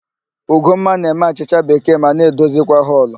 Ugomma na-eme achịcha bekee ma na-edozikwa họlụ.